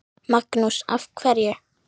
Magnús: Af hverju?